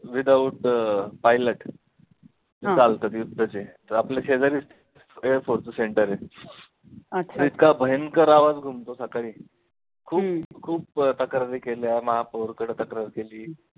without अं pilot चालतात युद्धाचे तर आपल्या शेजारीचं air force चं center आहे, इतका भयंकर आवाज घुमतो सकाळी खूप खूप तक्रारी केल्या महापौरकडे तक्रार केली.